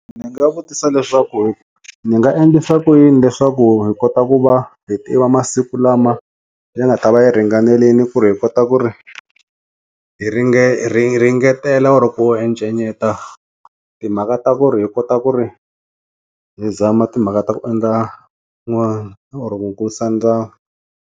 Ndzi nga vutisa leswaku ku ni nga endlisa yini leswaku hi kota ku va hi tiva masiku lama ya nga ta va yi ringanelini ku ri hi kota ku ri hi ringe hi ringetela oro ku encenyeta timhaka ta ku ri hi kota ku ri hi zama timhaka ta ku endla n'wana oro ku kulisa ndyangu.